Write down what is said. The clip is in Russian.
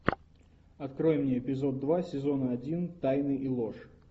открой мне эпизод два сезона один тайны и ложь